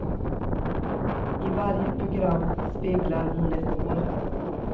I varje program speglar hon ett år.